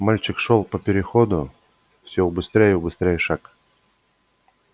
мальчик шёл по переходу все убыстряя и убыстряя шаг